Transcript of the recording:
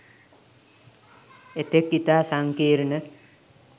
එතෙක් ඉතා සංකීර්ණ